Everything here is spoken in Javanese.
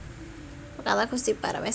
Mekaten Gusti Pramesti